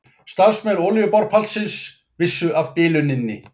Starfsmenn olíuborpallsins vissu af biluninni